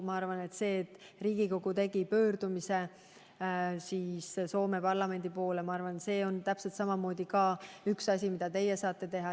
Ma arvan, et see, et Riigikogu tegi pöördumise Soome parlamendi poole, ongi olnud üks asi, mida teie saate teha.